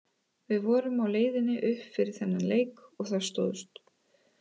Við vorum á leiðinni upp fyrir þennan leik og það stóðst.